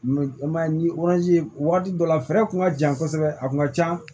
i m'a ye ni ye wagati dɔ la fɛɛrɛ kun ka jan kosɛbɛ a kun ka ca